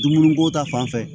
Dumuni ko ta fanfɛ